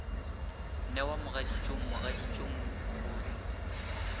newa mogaditšong mogaditšong mo gohle